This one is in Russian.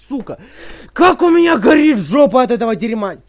сука как у меня горит жопа от этого дерьма